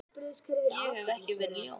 Ég hef ekki verið ljón.